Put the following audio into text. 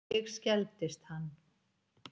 Ég skelfdist hann.